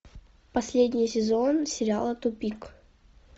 последний сезон сериала тупик